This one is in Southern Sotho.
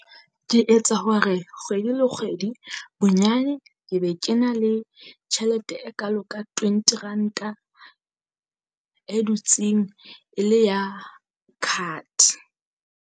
Ke etsa hore kgwedi le kgwedi bonyane ke be ke na le tjhelete e kalo ka twenty ranta e dutseng e le ya card.